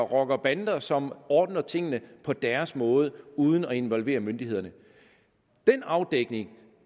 rockerbander som ordner tingene på deres måde uden at involvere myndighederne den afdækning